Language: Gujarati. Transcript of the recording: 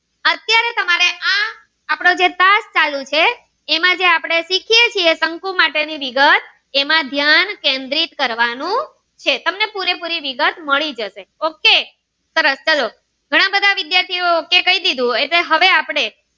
ક્લાસ ચાલું છે એમાં જે આપણે શીખીએ છીએ શંકુ માટે ની વિગત એમાં ધ્યાન કેન્દ્રિત કરવાનું છે તમને પૂરેપૂરી વિગત મળી જશે okay સરસ ચલો ઘણા બધા વિદ્યાર્થીઓ એ okay કહી દીધું હવે આપણે